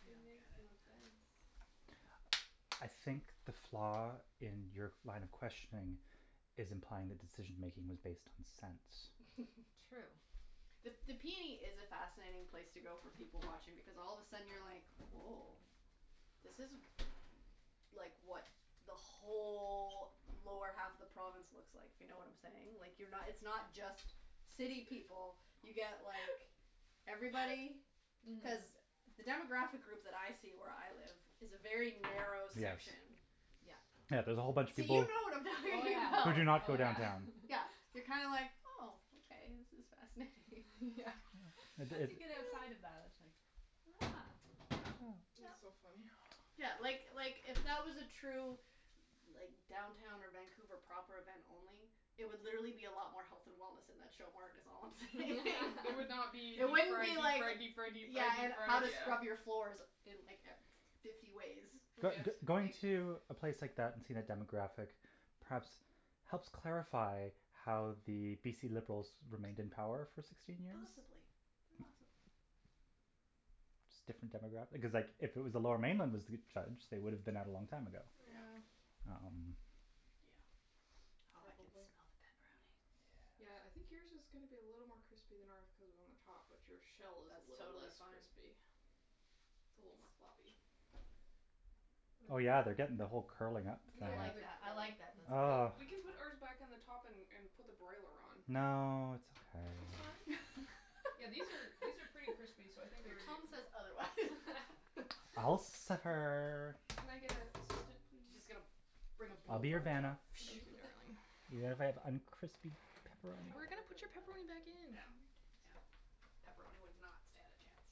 I It don't get makes it. no sense. I think the flaw in your line of questioning is implying the decision-making was based on sense. True. The the p n e is a fascinating place to go for people-watching because all of a sudden you're like, woah, this is, like, what the whole lower half of the province looks like, if you know what I'm saying. Like, you're not, it's not just city people. You get like everybody. Mhm. Cuz the demographic group that I see where I live is a very narrow Yes. section. Yeah. Yeah, there's a whole bunch of So you people know what I'm Oh talking who about. do yeah, not go oh yeah. downtown. Yeah, you're kind of like, oh, okay, this is fascinating. Yeah. Yeah. It, Once you get it outside of that, that's like, huh. Yeah, Yeah. That's so yeah. funny. Yeah, like, like, if that was a true like downtown or Vancouver proper event only, it would literally be a lot more health and wellness in that show mart is all I'm saying. It would not be deep It wouldn't fried, be deep like fried, deep fried, deep Yeah, fried, deep and how fried, to yeah. scrub your floors in like e- fifty ways. Mm yeah. But b- going to a place like that and seeing a demographic perhaps helps clarify how the BC Liberals remained in power for sixteen years. Possibly, possibly. Just different demograph- because, like, if it was the Lower Mainland that was judged, they would have been out a long time ago. Yeah. Um Yeah. Oh, I can smell Probably. the pepperoni. Yeah, I think yours is gonna be a little more crispy than ours cuz we're on the top, but your shell is That's little totally less fine. crispy. It's a little more floppy. Oh, But it yeah, they're getting the whole curling up thing. I Yeah, like they're that, I like curling. that, that's Well, Ugh good. we can put ours back on the top and and put the broiler on. No, it's It's fine. okay. Yeah, these are, these are pretty crispy, so I think they're Your ready to tone come says out. otherwise. I'll suffer. Can I get a assistant, She's just please? gonna bring a I'll be your blowtorch out. Vanna. Thank you, darling. Even if I have uncrispy That would pepperoni. We're probably gonna work put really your well, pepperoni back actually. in, No, calm your yeah, tits. pepperoni would not stand a chance.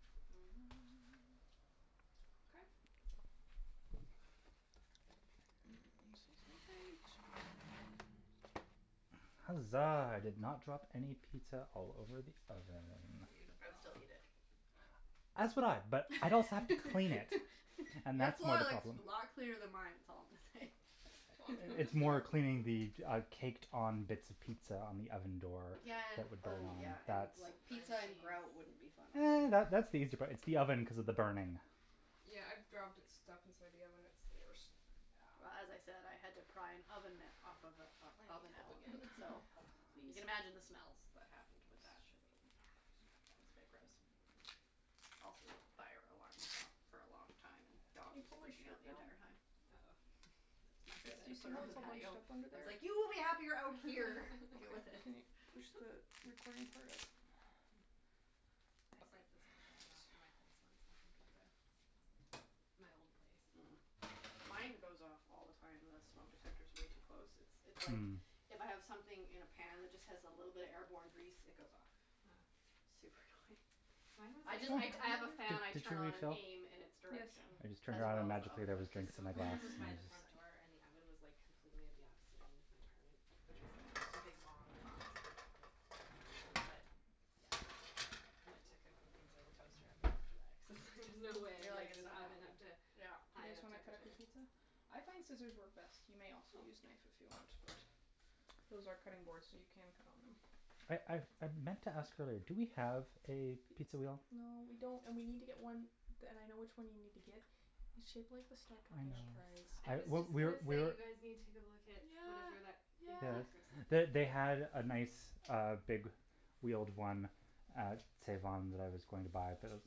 Okay. Mm, excuse my reach. Huzzah, I did not drop any pizza all over the oven. I'd still eat it. As would I, but I'd also have to clean it and Your that's more floor the looks problem. a lot cleaner than mine is all I'm gonna say. Well, I'm j- I'm It's just gonna more cleaning the, uh, caked on bits of pizza on the oven door Yeah and, that would burn. oh yeah, and, That's like, pizza and grout wouldn't be fun either. That that's the easy part, it's the oven cuz of the burning. Yeah, I've dropped it stuff inside the oven; it's the worst. Well as I said, I had to pry an oven mitt off of a, of I need oven help element, again. so Help, you please. can imagine the smells that happened with that. Let's shove Yeah, that it was a bit gross. Also, the fire alarm went off for a long time and the Can dog you was pull my freaking out shirt the down? entire time. It was not Yes, good. I do had you to see put her how on the it's all bunched patio. up under I was there? like, "You will be happier out here." "Deal with it." Can you push the recording part up? I Up. set the smoke alarm off in my Thanks. place once making pizza. My old place. Mm. Mine goes off all the time. The smoke detector's way too close. It's, it's like Mm. if I have something in a pan that just has a little bit of airborne grease, it goes off. Oh. Super annoying. Mine I was, just like I d- I have a fan I Did did you turn on and refill? aim in its Yes. direction I just turned as around and well as the magically oven there hood. was The drinks in my smoke glass. alarm was by the front door and the oven was, like, completely at the opposite end of my apartment which was, like, just a big long box, basically. But, yeah, I went to cooking pizza in the toaster oven after that cuz it was like, "There's no way You're I'm like getting "It's this not oven happening." up to Yeah. Do you high guys enough wanna cut up temperature" your pizza? I find scissors work best. You may also use knife if you want but those are cutting boards, so you can cut on them. I I I meant to ask earlier, do we have a pizza wheel? No, we don't, and we need to get one, d- and I know which one you need to get. It's shaped like the Star Trek I know. Enterprise. I I, was we, just we're, gonna say we're you guys need to go look at whatever that, Yeah, Think yeah. Yes. Geeks or something. They, they had a nice, uh, big wheeled one at Save On that I was going to buy, but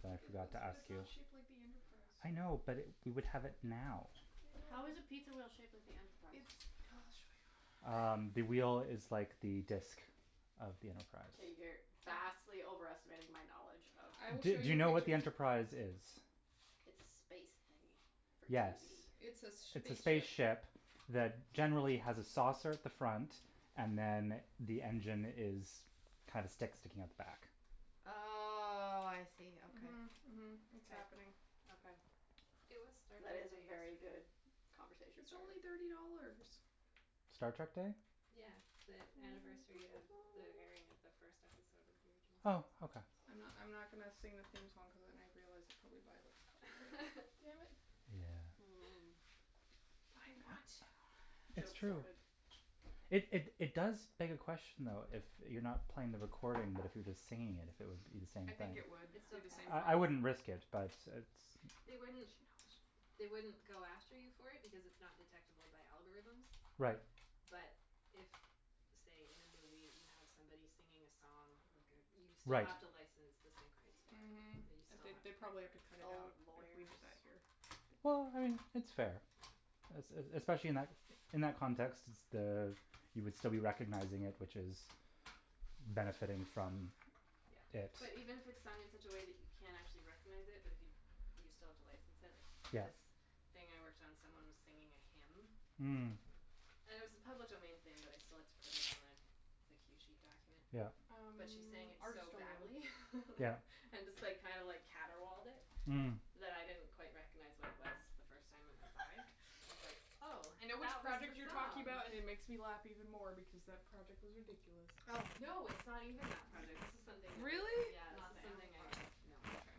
I feel then like I it was, forgot to but ask it's you. not shaped like the Enterprise, so I know, but we would have it now. I know How but is a pizza wheel shaped like the It's Enterprise? Um, the wheel is like the disk of the Enterprise. Okay, you're vastly overestimating my knowledge of I will Do show do you you know what what the you're Enterprise is? It's a space thingy for Yes, TV. It's a s- sh- it's a spaceship. spaceship that generally has a saucer at the front and then the engine is, kinda sticks, sticking out the back. Oh, I see, okay. Mhm, mhm. It's happening. Okay. It was Star That Trek is a Day very yesterday. good conversation It's starter. only thirty dollars. Star Trek Day? Yeah, the anniversary of the airing of the first episode of the original series. Oh, okay. I'm not, I'm not gonna sing the theme song cuz then I've realized it probably violates copyright. Damn it. Yeah. Mm. But I want to. It's Joke true. thwarted. It, it, it does beg a question, though, if you're not playing the recording, but if you're just singing it, if it would be the same I thing. think it would It be still the same counts. I, I problem. wouldn't risk it, but it's They wouldn't, She knows. they wouldn't go after you for it because it's not detectable by algorithms. Right. But if, say, in a movie you have somebody singing a song, like a, you still Right. have to license the sync rights for Mhm, it. That you still they, have they put probably have to the cut it Oh, out if we lawyers. did that here. Well, I mean, it's fair. Es- e- especially in that, in that context, s- the, you would still be recognizing it, which is benefiting from Yeah, it. but even if it's sung in such a way that you can't actually recognize it but if you, you still have to license it, like Yeah. this thing I worked on, someone was singing a hymn. Mm. And it was a public domain thing, but I still had to put it on the the cue sheet document. Yeah. Um, But she sang it ours are so still in the oven. badly. Yeah. And just, like, kind of like caterwauled it Mm. that I didn't quite recognize what it was the first time it went by. I was like, oh, I know which that was project you're the talking song. about and it makes me laugh even more because that project was ridiculous. Oh. No, it's not even that project. This is something that was Really? Yeah, this Not is the animal something I, project? no Okay.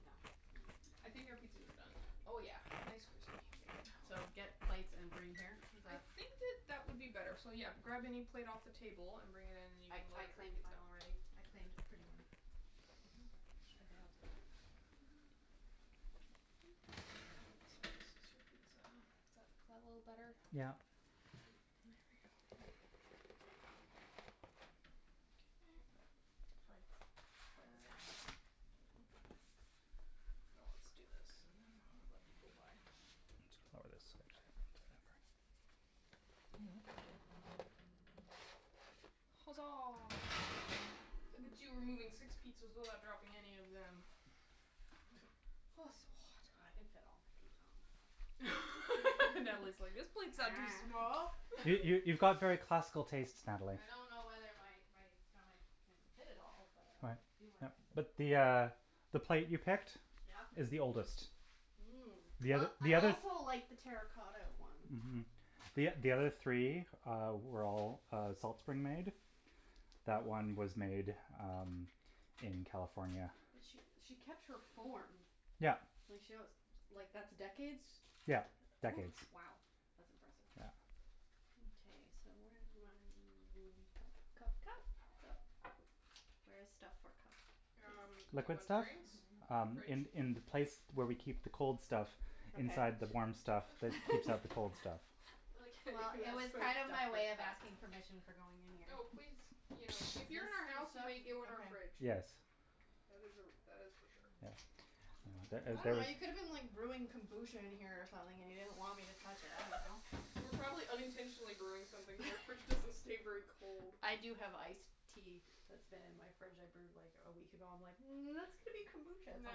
No. Hm. I think our pizzas are done. Oh yeah, nice, crispy, bacon So, get plates and bring here, is I that? think that that would be better. So, yeah, grab any plate off the table and bring it in and you I, can I load up your claimed mine pizza. already. I claimed a pretty one. Are they all different? Oh, they So, are. this is your Very pretty pizza. plates. Is that, is that a little I better? like this Yeah. one. There we go. Okay. Foots. Foots time. Ah Let's do this and then we'll let people by. I need to lower this, actually. Huzzah. Look at you removing six pizzas without dropping any of them. Oh, it's so hot. I can fit all my pizza on my plate. Natalie's like, "This plate's not too small." You, you, you've got very classical tastes, Natalie. I don't know whether my my stomach can fit it all, but I'm Right. gonna do my Yep. best. But the uh the plate you picked Yeah? is the oldest. Mmm. The Well, oth- the I other also like the terra cotta one. Mhm. The o- the other three, uh, were all, uh, Salt Spring made. That one was made, um, in California. But she, she kept her form. Yeah. Like she wants, like that's decades? Yeah, decades. W- wow, that's impressive. Yeah. Okay, so where's my m- cup, cup, cup, cup? Where is stuff for cup? Um, do you Liquid want stuff? drinks? Um, Fridge. in, in the place where we keep the cold stuff Okay. inside the warm stuff that keeps out the cold stuff. I like how Well, it was kind of my way of asking you permission for going in here. Oh, please. You know, if you're in our house, you may go in our fridge. Yes. That is a, that is for sure. Yeah. Ah the I ah dunno, you could have the been like brewing kombucha in here or something and you didn't want me to touch it, I don't know. We're probably unintentionally brewing something because our fridge doesn't stay very cold. I do have ice tea that's been in my fridge I brewed like a week ago. I'm like, "Mm, that's going to be kombucha at some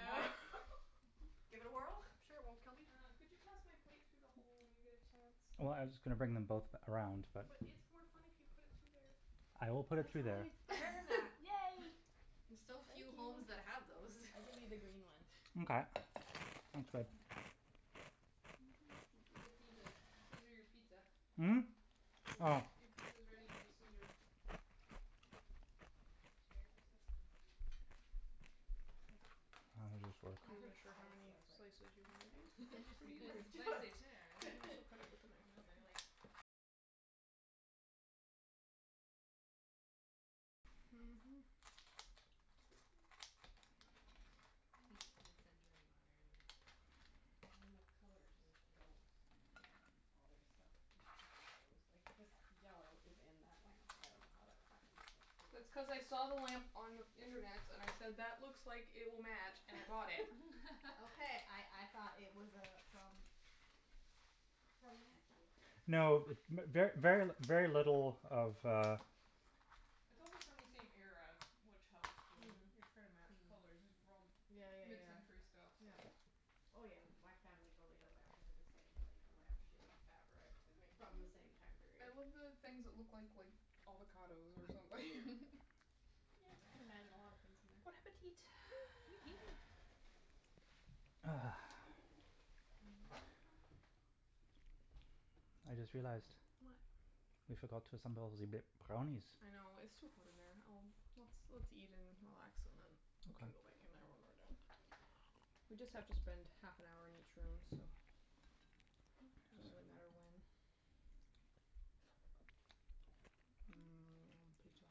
point." Give it a whirl, I'm sure it won't kill me. Uh, could you pass my plate through the hole when you get a chance? Well, I was just gonna bring them both around, but But it's more fun if you put it through there. I will put it That's through why there. it's there, Matt. Yay! There's so Thank few homes you. that have those. I give you the green one. Mkay. Thanks, babe. You just need to scissor your pizza. Mm? Your Oh. sci- your pizza is ready to be scissored. These chairs are so spicy. I love them. I just work. I I I said heard s- spacey. wasn't sure how many spicy. I was like, slices you wanna do. "Spicy? It's an Cuts pretty interesting Those word easily. spicy chairs. You choice." can also cut it with the knife No, if you they're, like want. Mhm. Like, peak mid-century modern, Well, and the colour just space age. goes. Yeah. All their stuff magically goes. Like, this yellow is in that lamp. I dunno how that ever happened, but it is. That's cuz I saw the lamp on internets and I said, "That looks like it will match," and I bought it. Okay, I I thought it was uh from from Matthew. No, Funny. mer- ver, very, very little of uh It's also from the same era, which helps when you're trying to match Mhm. colors. These are all Yeah, yeah, yeah. mid-century stuff, so Oh, yeah. My family totally had a lamp that had the same like lamp shade fabric Isn't it from the cute? same time I period. love the things that look like, like avocados or something. Yeah, I can imagine a lot of things in there. Bon appetit. Eat. Ah. I just realized What? we forgot to assemble ze b- brownies. I know. It's too hot in there. I'll Let's, let's eat and relax and then we can Okay. go back in there when we're done. We just have to spend half an hour in each room, so, doesn't really matter when. Mmm, pizza.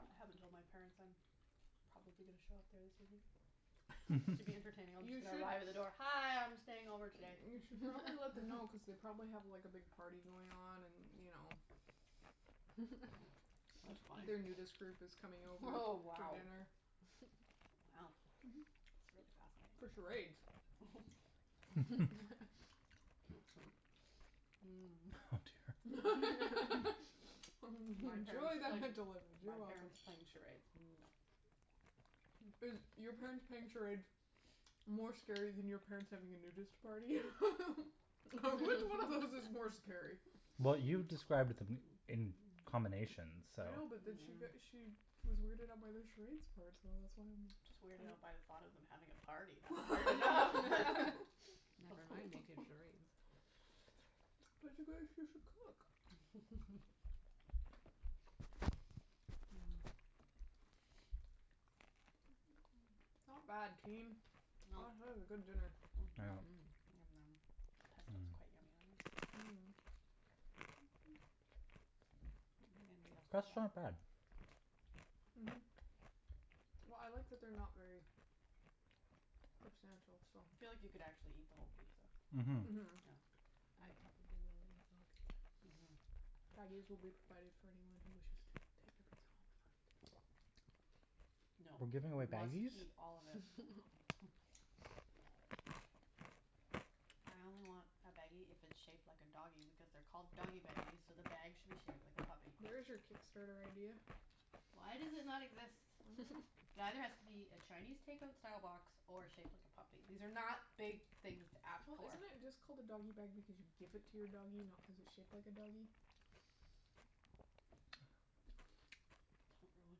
I haven't told my parents I'm probably gonna show up there this evening. But to be entertaining I'm You just gonna should arrive at the door, "Hi, I'm staying over today." You should probably let them know cuz they probably have, like, a big party going on and, you know That's funny. their nudist group is coming over Oh, for wow. dinner. Wow, that's really For fascinating. charades. Oh Enjoy dear. My parents the playing, mental image, you're my welcome. parents playing charades, no. Is your parents playing charades more scary than your parents having a nudist party? Which one of those is more scary? Well, you described b- d- m- in combination, so I know, but then she got, Mhm. she was weirded out by the charades part, so that's why I'm Just weirded out by the thought of them having a party. That's weird enough. Never mind making charades. But it's a cook. Not bad, Well team. That is a good dinner. Yeah. Mhm. Yum num. Pesto is quite Mm. yummy on here. I Mmm. don't think anybody The else did crust's not that. bad. Mhm. Well, I like that they're not very substantial, so I feel like you could actually eat the whole pizza. Mhm. No. Mhm. I probably will eat the whole pizza. Mhm. Baggies will be provided for anyone who wishes to take a pizza home and not eat it all. No, We're giving away we must baggies? eat all of it. I only want a baggie if it's shaped like a doggy because they're called doggy baggies, so the bag should be shaped like a puppy. There is your Kickstarter idea. Why does it not exist? I dunno. It either has to be a Chinese takeout style box or shaped like a puppy. These are not big things to ask Well, for. isn't it just called a doggy bag because you give it to your doggy, not cuz it's shaped like a doggy? Don't ruin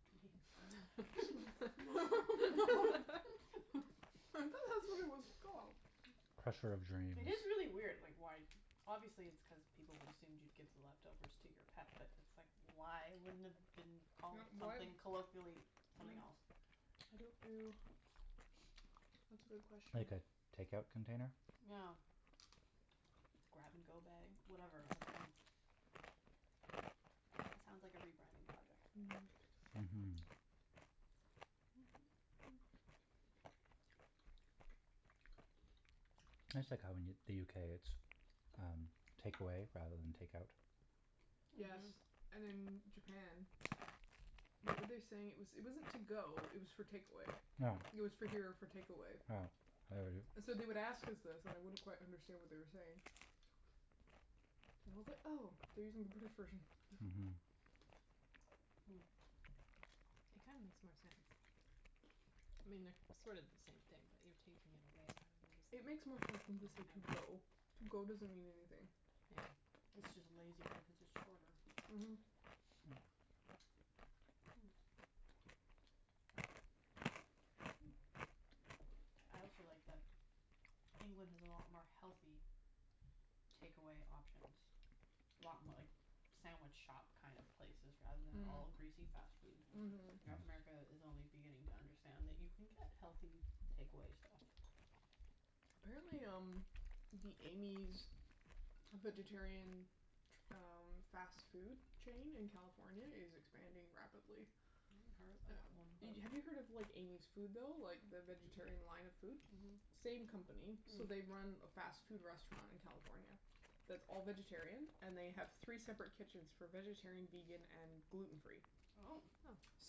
my dream. I thought that's what it was called. Crusher of dreams. It is really weird, like why Obviously it's cuz people would assumed you'd give the leftovers to your pet, but it's like, why wouldn't it have been called Yeah, why something Mm. colloquially, I something else? don't know. That's a good question. Like a takeout container? Yeah. grab-and-go bag, whatever. I dunno. That sounds like a rebranding project. Mhm, that's Mhm. That's like how in the UK, it's um takeaway rather than takeout. Yes. Mhm. And in Japan, what were they saying? It was, it wasn't to-go, it was for takeaway. Yeah. It was for here or for takeaway. Yeah, I heard it. So they would ask us this and I wouldn't quite understand what they were saying. And I was like, "Oh, they're using the British version." Hmm. It kinda makes more sense. I mean, they're sort of the same Mhm. thing, but you're taking it away rather than just It like makes more sense than taking to say it "to-go". out. "to-go" doesn't mean anything. Yeah. It's just a lazy word cuz it's shorter. Mhm. I also like that England has a lot more healthy takeaway options. A lot mo- like sandwich shop kind of places rather than all Mm. greasy fast Mm. food. Mhm. North Mhm. America Mhm. is only beginning to understand that you can get healthy takeaway stuff. Apparently, um, the Amy's vegetarian ch- um fast food chain in California is expanding rapidly. I haven't heard of that one, but Have you heard of like Amy's Food, though, like the vegetarian line of food? Mhm. Mm. Same company. So, they run a fast food restaurant in California that's all vegetarian. And they have three separate kitchens for vegetarian, vegan and gluten free. Oh.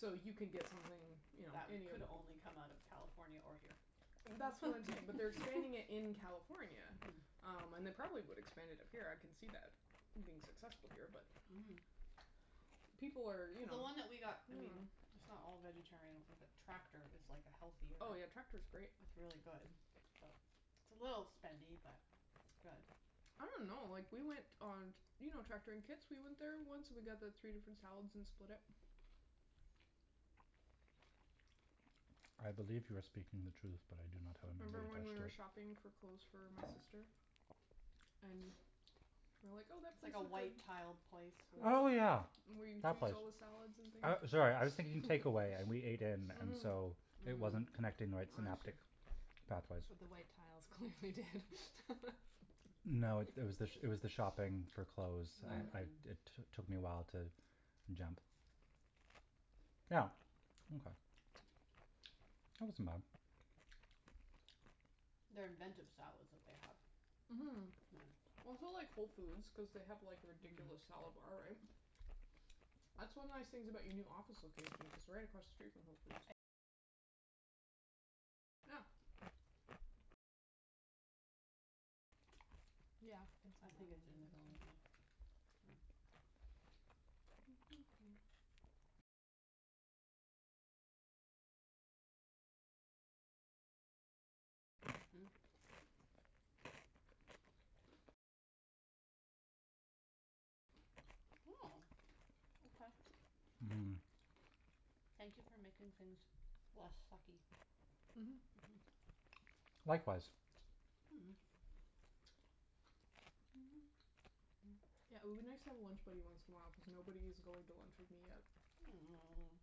So you can get something, you know That any of could only come out of California or here. That's what I'm saying, but they're expanding it in California. Um, and they probably would expand it up here. I can see that being successful here, but Mhm. people are, you know. The one that we got, I mean it's not all vegetarian, I don't think, but Tractor is like a healthier Oh, yeah, Tractor's great. It's really good, but It's a little spendy, but it's good. I don't know. Like, we went on t- You know Tractor in Kits? We went there once and we got the three different salads and split it. I believe you are speaking the truth, but I do not have a Remember when we memory were attached to it. shopping for clothes for my sister? And we were like, "Oh, that It's place like a looks like" white-tiled place We with Oh went yeah, Where you that choose place. all the salads and things. I, sorry, I was thinking takeaway and we ate in and Mhm. so it wasn't connecting the right I see. synaptic pathways. But the white tiles clearly did. No, it was the, it was the shopping for clothes. I, I, it t- took me a while to jump. Yeah, okay. That wasn't bad. They're inventive salads that they have. Mhm. Yeah. That's why I like Whole Foods cuz they have like a ridiculous salad bar, right? That's one of the nice things about your new office location, it's right across the street from Whole Foods. Yeah. Yeah, I think it's in the building, yeah. Mhm. Oh, okay. Mhm. Thank you for making things less sucky. Mhm, Mhm. Likewise. Yeah, it would be nice to have a lunch buddy once in a while cuz nobody is going to lunch with me yet. Oh.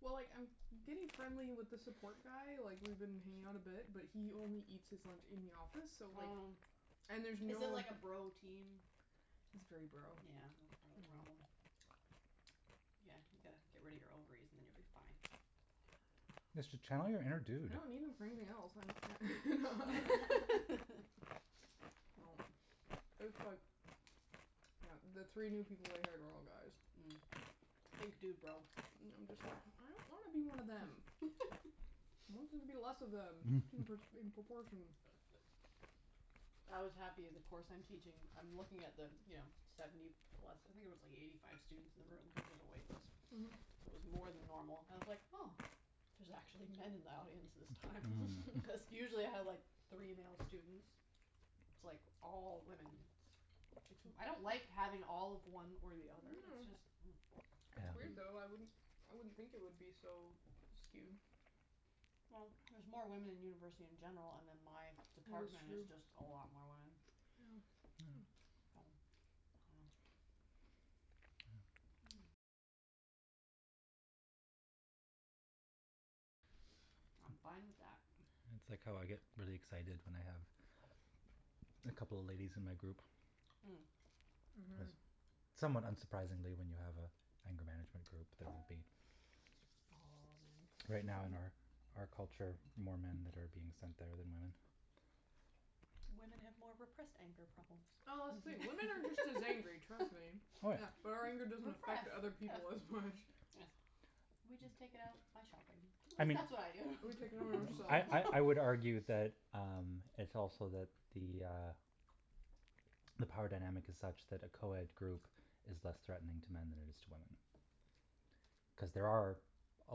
Well, like, I'm getting friendly with the support guy, like, we've been hanging out a bit, but he only eats his lunch in the office so, like. Oh. And there's no. Is it like a bro team? It's very bro. That's part Yeah. of the problem. Yeah, you gotta get rid of your ovaries and then you'll be fine. Just tell them you're a dude. I don't need them for anything else. No, it's like. Yeah. the three new people they hired are all guys. Mm. Think dudebro. And I'm just, like, I don't wanna be one of them. I want there to be less of them in in proportion. I was happy. The course I'm teaching, I'm looking at the, you know, seventy plus. I think there was like eighty five students in the room cuz there's a wait list, so Mhm. it was more than normal. I was like oh, there's actually men in the audience this time. Because usually I have like three male students, it's like all women. I don't like having all of one or the other. It's just. No. It's It's weird, weird, though. though. I wouldn't I wouldn't think it would be so skewed. Well, there's more women in university in general, and then my department is just a lot more women. Yeah. I'm fine with that. It's like how I get really excited when I have a couple of ladies in my group. Cuz Mhm. somewhat unsurprisingly when you have an anger management group, there would be. All men. Right now in our out culture, more men that are being sent there than women. Women have more repressed anger problems. Oh, wait, women are just as angry, trust me. Yeah, but our anger doesn't affect Repressed, other people as much. yes. We just take it out by shopping, at least that's what I do. We take it out on I I I would ourselves. argue that um it's also that the uh the power dynamic is such that a co-ed group is less threatening to men than it is to women. Cuz there are a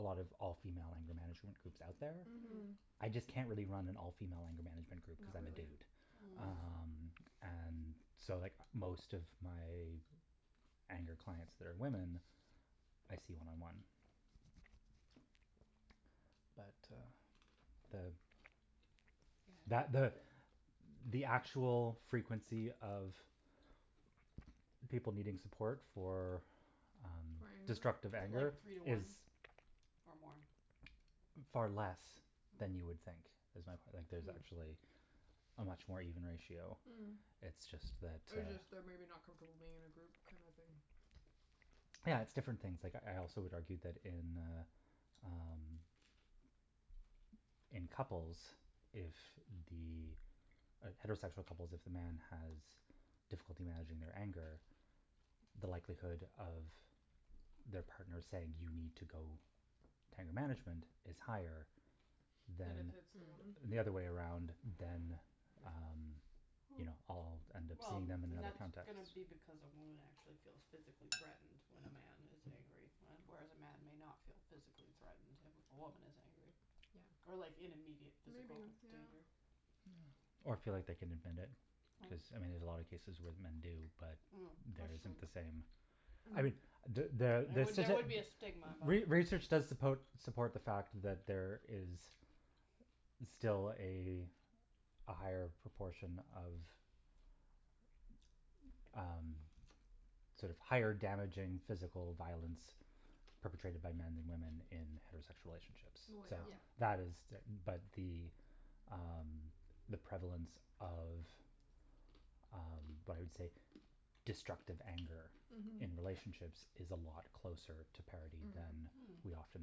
lot of all female anger management groups out there. Mhm. I just can't really run an all female anger management group cuz I'm a dude. Oh. Um, and so, like, most of my anger clients that are women, I see one on one. But uh the. That Yeah. the the actual frequency of people needing support for um For anger? Is destructive it anger like three to is. one or more? Far less than you would think. Is my point, like there's actually a much more even ratio. Mm. It's just that Or uh. just they're maybe not comfortable being in a group kind of thing. Yeah, it's different things. Like, I also would argue that in uh um in couples, if the heterosexual couples, if the man has difficulty managing their anger, the likelihood of their partner saying, "You need to go to anger management," is higher Than if than. it's the woman? The other way around than um, you know, I'll end up Well, seeing them in and that that's context. going to be because a woman actually feels physically threatened when a man is angry, whereas a man may not feel physically threatened if a woman is angry. Yeah. Or like in immediate Maybe, physical yeah. danger. Or feel like they can admit it cuz, I mean, there's a lot of cases where men do, but that isn't the same. No. I mean. There there would be a stigma involved. Re research does suppo support the fact that there is still a a higher proportion of um sort of higher damaging physical violence perpetrated my men than women in heterosexual relationships. So Well, yeah. that is but the um the prevalence of um what I would say destructive anger in relationships is a lot closer to parity than Mhm. we often